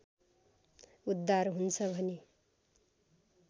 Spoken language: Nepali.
उद्धार हुन्छ भनी